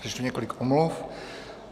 Přečtu několik omluv.